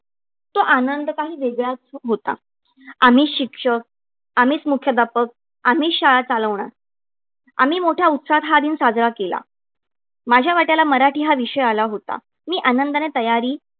तो आनंद काही वेगळाच होता. आम्हीच शिक्षक, आम्हीच मुख्याध्यापक, आम्हीच शाळा चालवणार. आम्ही मोठ्या उत्साहात हा दिन साजरा केला. माझ्या वाट्याला मराठी हा विषय आला होता. मी आनंदाने तयारी